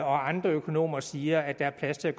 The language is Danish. og andre økonomer siger at der er plads til at